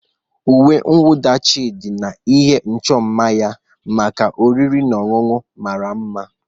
Uwe mwụda Chidi na ihe ịchọ mma maka oriri na ọṅụṅụ mara mma.